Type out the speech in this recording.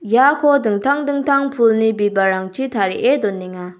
iako dingtang dingtang pulni bibalrangchi tarie donenga.